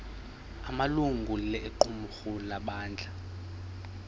amalungu equmrhu lebandla